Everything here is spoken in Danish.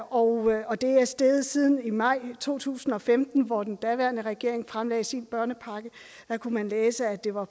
og og det er steget siden maj to tusind og femten hvor den daværende regering fremlagde sin børnepakke der kunne man læse at det var